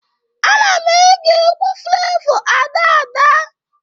Ana m ege egwu Flevọ Ada Ada